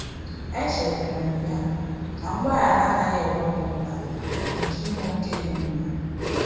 Echetara m ya na mgbaghara anaghị ewepụ mkpa nke inwe ókè dị mma.